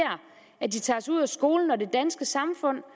at de tages ud af skolen og det danske samfund